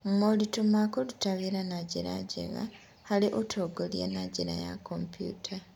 Moritũ ma kũruta wĩra na njĩra njega harĩ Ũtongoria na njĩra ya kompiuta: